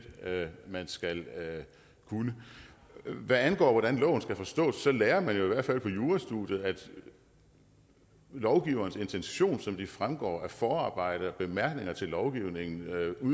man skal kunne hvad angår hvordan loven skal forstås så lærer man jo i hvert fald på jurastudiet at lovgiverens intention som den fremgår af forarbejdet og bemærkningerne til lovgivningen